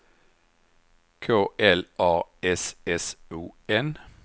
K L A S S O N